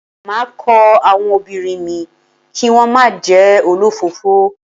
Máa kọ́ àwọn ọmọbìnrin mi kí wón má jẹ́ olọ́fọ̀ọ́fọ́.